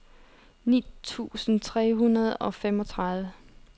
ni tusind tre hundrede og femogtredive